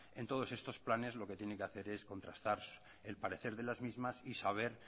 en todos estos planes lo que tiene que hacer es contrastar el parecer de las mismas y saber